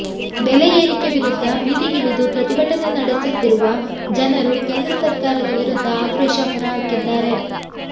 ಬೆಲೆ ಏರಿಕೆ ವಿರುದ್ಧ ಬೀದಿಗಿಳಿದು ಪ್ರತಿಭಟನೆ ನಡೆಸುತ್ತಿರುವ ಜನರು ಕೇಂದ್ರ ಸರ್ಕಾರದ ವಿರುದ್ಧ ಆಕ್ರೋಶ ಹೊರಹಾಕಿದ್ದಾರೆ